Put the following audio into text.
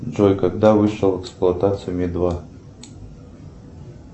джой когда вышел в эксплуатацию ми два